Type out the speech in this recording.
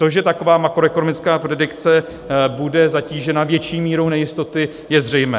To, že taková makroekonomická predikce bude zatížena větší mírou nejistoty, je zřejmé.